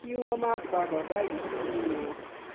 kí wọn má pa bàbá yìí fún mi o